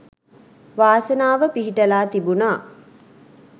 වාසනාව පිහිටලා තිබුනා.